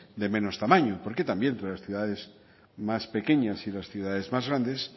de menos tamaño porque también entre las ciudades más pequeñas y las ciudades más grandes